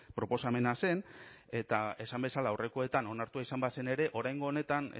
proposamena zen eta esan bezala aurrekoetan onartua izan bazen ere oraingo honetan